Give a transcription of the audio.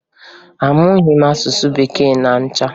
Amụghị m asụsụ Bekee ma ncha